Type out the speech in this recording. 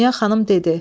Dünya xanım dedi: